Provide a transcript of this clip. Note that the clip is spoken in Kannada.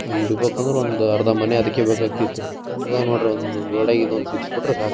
ನಾವು ಇಡಬೇಕೆಂದ್ರೆ ಒಂದು ಅರ್ಧ ಮನೆ ಅದ್ದಕ್ಕೆ ಬೆಕಾಕ್ತಿತ್ ರೀ ಇವಾಗ್ ನೋಡ್ರಿ ಗೋಡೆಗೆ ಒಂದು ಸಿಗಿಸ್ಬಿಟ್ರೇ ಸಾಕು